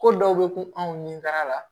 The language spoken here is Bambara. Ko dɔw bɛ ku anw ni baara la